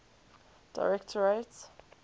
directorate